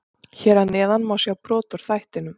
Hér að neðan má sjá brot úr þættinum.